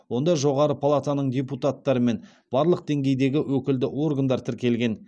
онда жоғары палатаның депутаттары мен барлық деңгейдегі өкілді органдар тіркелген